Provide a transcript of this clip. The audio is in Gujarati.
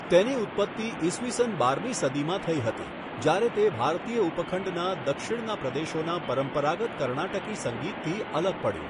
તેની ઉત્પત્તિ ઈસવી સન બારમી સદીમાં થઈ હતી, જ્યારે તે ભારતીય ઉપખંડના દક્ષિણના પ્રદેશોના પરંપરાગત કર્ણાટકી સંગીતથી અલગ પડ્યું.